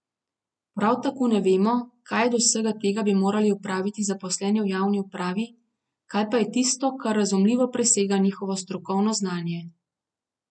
Prav tako ne vemo, kaj od vsega tega bi morali opraviti zaposleni v javni upravi, kaj pa je tisto, kar razumljivo presega njihovo strokovno znanje.